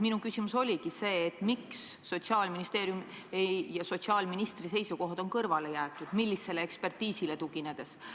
Minu küsimus oligi, miks Sotsiaalministeeriumi ja sotsiaalministri seisukohad on kõrvale jäetud, millisele ekspertiisile tuginedes.